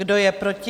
Kdo je proti?